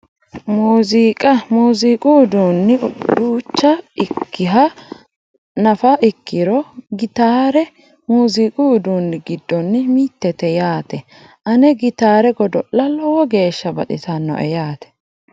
Muuziiqa muuziiqu uduunni duucha ikkiha nafa ikkirono gitaare muuziiqu uduunni giddonni mittete yaate ane gitaare godo'la lowo geeshsha baxisannoe yaate